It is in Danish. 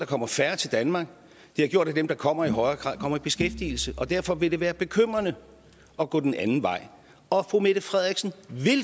kommer færre til danmark det har gjort at dem der kommer i højere grad kommer i beskæftigelse derfor vil det være bekymrende at gå den anden vej og fru mette frederiksen